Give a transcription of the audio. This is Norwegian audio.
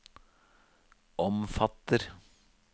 omfatter